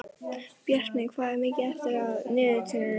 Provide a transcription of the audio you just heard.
Bjartmey, hvað er mikið eftir af niðurteljaranum?